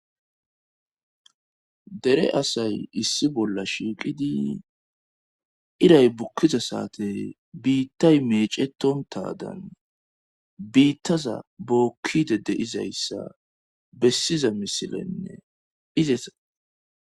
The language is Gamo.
dere asay issi bolla shiiqidi iray bukkiza saate biittay meecetontadan biittaza bookkide de izayssa bessiza misilenne izesa